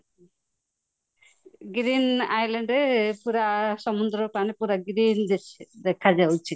green island ପୁରା ସମୁଦ୍ର ପାଣି ପୁରା green ଦେଖାଯାଉଛି